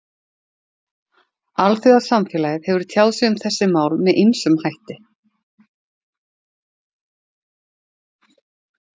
Alþjóðasamfélagið hefur tjáð sig um þessi mál með ýmsum hætti.